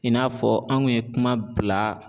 I n'a fɔ an kun ye kuma bila.